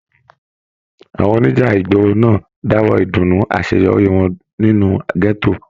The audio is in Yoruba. Àwọn oníjà ìgboro náà dáwọ ìdùnnú àṣeyọrí wọn nínú gẹto.